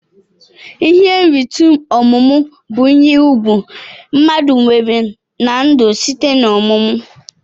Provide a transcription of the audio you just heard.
Ihe nrite ọmumụ bu ihe ugwu mmadu nwere na ndu site na ọmumụ.